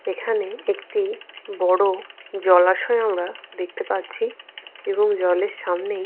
এখানে একটি বড় জলাশয় আমরা দেখতে পাচ্ছি এবং জলের সামনেই।